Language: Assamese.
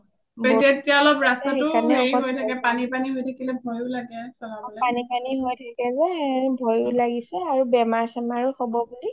তেতিয়াটো ৰাস্তাটো হেৰি হৈ থাকে পানি পানি ভয়ও লাগে অলপ চলাবলে